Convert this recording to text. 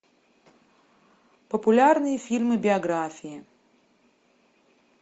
популярные фильмы биографии